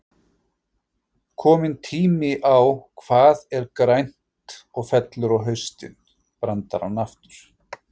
Kominn tími á Hvað er grænt og fellur á haustin? brandarann aftur.